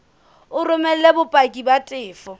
o romele bopaki ba tefo